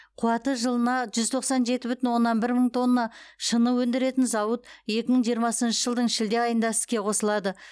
қуаты жылына жүз тоқсан жеті бүтін оннан бір мың тонна шыны өндіретін зауыт екі мың жиырмасыншы жылдың шілде айында іске қосылады